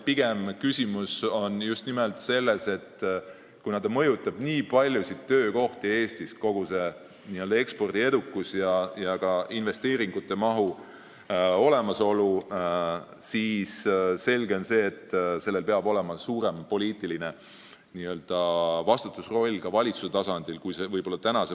Pigem on küsimus selles, et kuna kogu see n-ö ekspordiedukus ja investeeringumahu olemasolu mõjutavad nii paljusid töökohti Eestis, siis on selge, et ka valitsus peaks olema suuremas poliitilise vastutaja rollis, kui ta siiani olnud on.